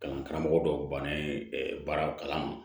Kalan karamɔgɔ dɔw banna ye baara kalan